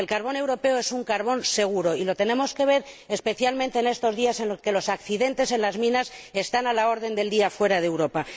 El carbón europeo es un carbón seguro, y lo tenemos que ver especialmente en estos días en los que los accidentes en las minas están a la orden del día fuera de Europa.